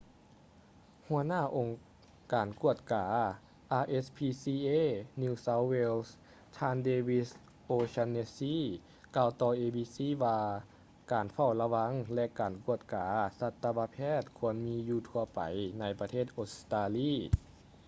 ຫົວໜ້າອົງການກວດກາ rspca new south wales ທ່ານ david o'shannessy ກ່າວຕໍ່ abc ວ່າການເຝົ້າລະວັງ ແລະ ການກວດກາສັດຕະວະແພດຄວນມີຢູ່ທົ່ວໄປໃນປະເທດອົດສະຕາລີ